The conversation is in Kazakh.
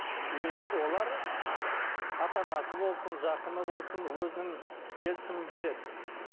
и олар ата анасы болсын жақыны болсын өзінің келісімін береді